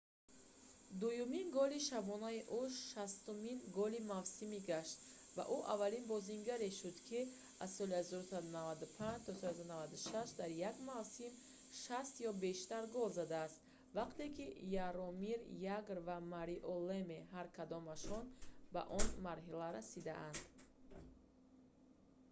дуюмин голи шабонаи ӯ 60-умин голи мавсим гашт ва ӯ аввалин бозингаре шуд ки аз соли 1995-96 дар як мавсим 60 ё бештар гол задааст вақте ки яромир ягр ва марио леме ҳар кадомашон ба он марҳила расиданд